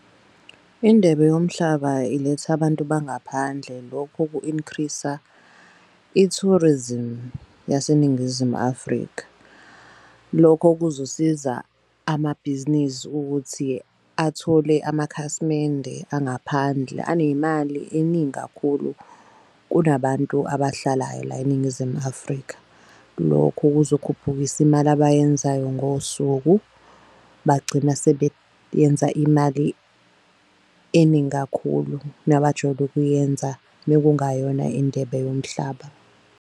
Indebe yomhlaba iletha abantu bangaphandle lokhu ku-increase-a i-tourism yaseNingizimu Afrika. Lokho kuzosiza amabhizinisi ukuthi athole amakhasimende angaphandle aney'mali eningi kakhulu. Kunabantu abahlalayo la eNingizimu Afrika, lokhu kuzokhuphukisa imali abayenzayo ngosuku. Bagcina imali eningi kakhulu nabajwayele ukuyenza mekungayona indebe yomhlaba.